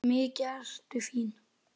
Mikið ertu fín!